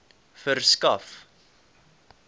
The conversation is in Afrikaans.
verskaf